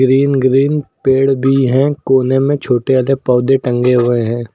Green green पेड़ बी हैं। कोने में छोटे आधे पौधे टंगे हुए हैं।